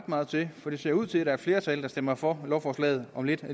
meget til for det ser ud til at flertal der stemmer for lovforslaget om lidt